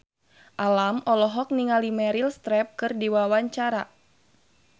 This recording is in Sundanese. Alam olohok ningali Meryl Streep keur diwawancara